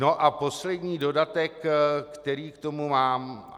Nu a poslední dodatek, který k tomu mám.